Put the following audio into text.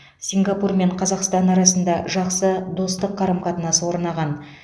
сингапур мен қазақстан арасында жақсы достық қарым қатынас орнаған